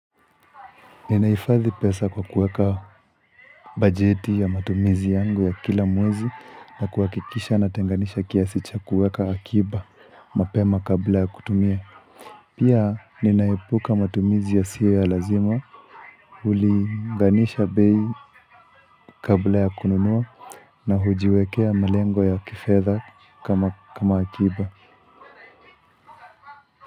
Ninahifadhi pesa kwa kuweka bajeti ya matumizi yangu ya kila mwezi na kuakikisha natenganisha kiasi cha kuweka akiba mapema kabla ya kutumia. Pia ninaepuka matumizi yasiyo ya lazima hulinganisha bei kabla ya kununua na hujiwekea malengo ya kifedha kama akiba.